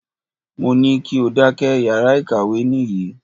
Mo ní kí o dákẹ́! Yàrá ìkàwé nìyí.